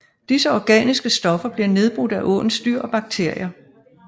Disse organiske stoffer bliver nedbrudt af åens dyr og bakterier